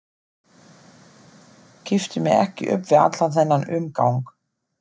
Kippti mér ekki upp við allan þennan umgang.